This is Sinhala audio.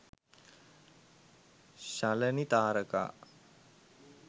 shalani tharaka